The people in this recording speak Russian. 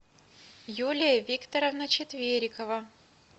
юлия викторовна четверикова